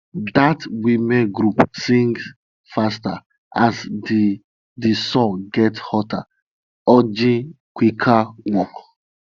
dat womens group sings faster as di di sun gets hotter urging quicker work